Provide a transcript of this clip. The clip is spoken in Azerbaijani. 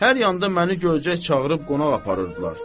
Hər yanda məni görcək çağırıb qonaq aparırdılar.